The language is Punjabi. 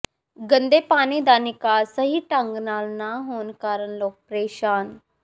ਗੰਦੇ ਪਾਣੀ ਦਾ ਨਿਕਾਸ ਸਹੀ ਢੰਗ ਨਾਲ ਨਾ ਹੋਣ ਕਾਰਨ ਲੋਕ ਪਰੇਸ਼ਾਨ